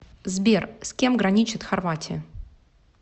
сбер с кем граничит хорватия